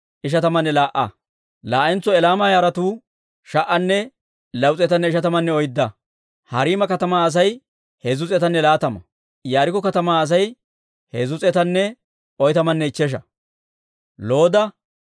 Hawaappe kaaliyaawanttu omooduwaappe simmeedda k'eesetuwaa: Iyyaasu yara gideedda Yadaaya yaratuu 973;